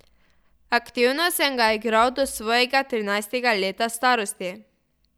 Aktivno sem ga igral do svojega trinajstega leta starosti.